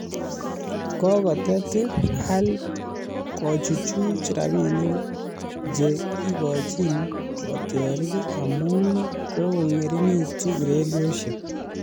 Kokotet Al Ahly kochuchuch rabiinik che kikochin kotiorik amu kokong'ering'itu ureriosyek